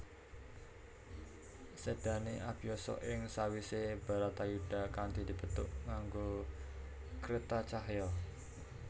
Sedané Abiyasa ing sawisé Baratayuda kanthi dipethuk nganggo kretacahya